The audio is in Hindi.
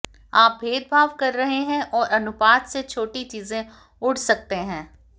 आप भेदभाव कर रहे हैं और अनुपात से छोटी चीजें उड़ सकते हैं